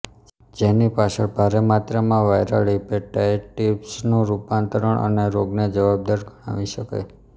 જેની પાછળ ભારે માત્રામાં વાઇરલ હિપેટાઇટિસનું રૂપાંતરણ અને રોગને જવાબદાર ગણાવી શકાય